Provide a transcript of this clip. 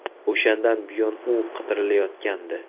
O‘shandan buyon u qidirilayotgandi.